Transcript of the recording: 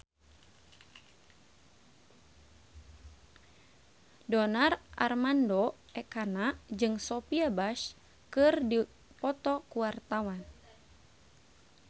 Donar Armando Ekana jeung Sophia Bush keur dipoto ku wartawan